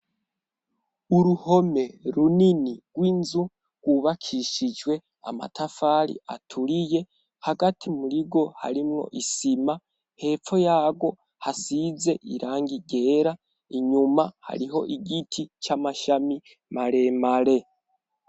Uruhome runini rw'inzu rwubakishijwe amatafari aturiye. Hagati muri rwo harimwo isima, hepfo yarwo hasize irangi ryera. Inyuma hariho igiti c'amashami maremare.